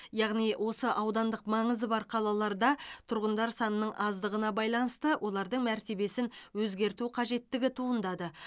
яғни осы аудандық маңызы бар қалаларда тұрғындар санының аздығына байланысты олардың мәртебесін өзгерту қажеттігі туындады